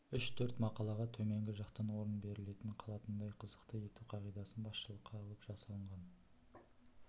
үш-төрт мақалаға төменгі жақтан орын берілетін қалатындай қызықты ету қағидасын басшылыққа алып жасалынған